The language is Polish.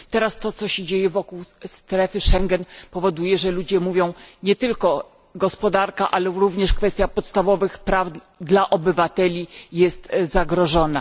Teraz to, co się dzieje wokół strefy Schengen, powoduje, że ludzie mówią, że nie tylko gospodarka, ale również kwestia podstawowych praw obywateli jest zagrożona.